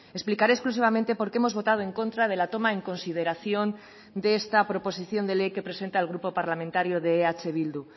explicaré exclusivamente por qué hemos votado en contra de la toma en consideración de esta proposición de ley que presenta el grupo parlamentario de eh bildu